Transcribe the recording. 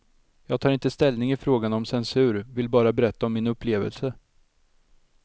Jag tar inte ställning i frågan om censur, vill bara berätta om min upplevelse.